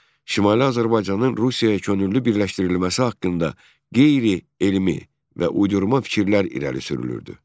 Şimali Azərbaycanın Rusiyaya könüllü birləşdirilməsi haqqında qeyri-elmi və uydurma fikirlər irəli sürülürdü.